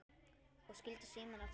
Og skildi símann eftir?